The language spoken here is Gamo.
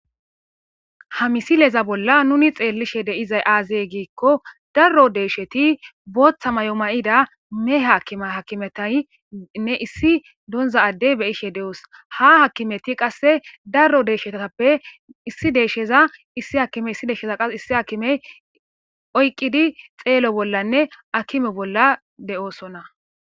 Ha misileza bolla nuni xeellishe deizay aazey giikko darro deeshsheti booththa mayo ma'ida me haakime hakimetaynne issi donza addey beyishe de'oos ha hakimeti qasse darro deeshshetaappe issi deeshsheza issi hakimey issi deeshsheza qas issi akimey oyqqidi xeelo bollanne akime bolla de'oosonna.